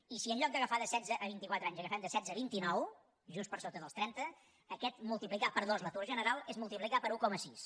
i si en lloc d’agafar de setze a vinti quatre anys agafem de setze a vint i nou just per sota dels trenta aquest multiplicar per dos l’atur general és multiplicar per un coma sis